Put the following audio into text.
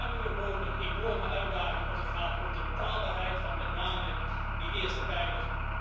We staan dus voor een enorme uitdaging als het gaat om de betaalbaarheid van met name de eerste pijler.